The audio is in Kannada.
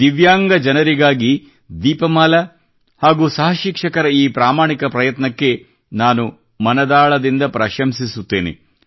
ದಿವ್ಯಾಂಗ ಜನರಿಗಾಗಿ ದೀಪಮಾಲಾ ಹಾಗೂ ಸಹ ಶಿಕ್ಷಕರ ಈ ಪ್ರಾಮಾಣಿಕ ಪ್ರಯತ್ನಕ್ಕೆ ನಾನು ಮನದಾಳದಿಂದ ಪ್ರಶಂಸಿಸುತ್ತೇನೆ